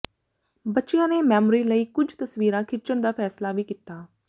ਬੱਚਿਆਂ ਨੇ ਮੈਮੋਰੀ ਲਈ ਕੁਝ ਤਸਵੀਰਾਂ ਖਿੱਚਣ ਦਾ ਫੈਸਲਾ ਵੀ ਕੀਤਾ